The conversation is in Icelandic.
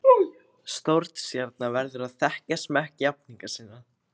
Stórstjarna verður að þekkja smekk jafningja sinna.